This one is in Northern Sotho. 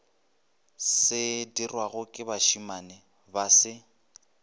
sedirwago ke bašemane ba se